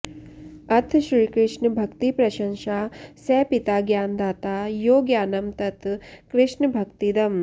अथ श्रीकृष्णभक्तिप्रशंशा स पिता ज्ञानदाता यो ज्ञानं तत् कृष्णभक्तिदम्